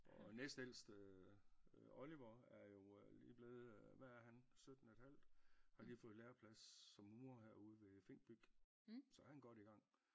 Og næstældste øh Oliver er jo øh lige blevet øh hvad er han sytten et halvt har lige fået læreplads som murer herude ved Fink Byg så han godt i gang